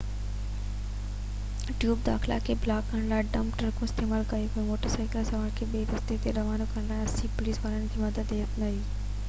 tube داخلا کي بلاڪ ڪرڻ لاءِ ڊمپ ٽرڪون استعمال ڪيون ويون ۽ موٽر سائيڪل سوارن کي ٻئي رستي تي روانو ڪرڻ لاءِ 80 پوليس وارن جي مدد هٿ ۾ هئي